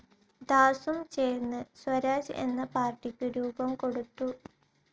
ദാസും ചേർന്ന് സ്വരാജ് എന്ന പാർട്ടിക്കു രൂപം കൊടുത്തു.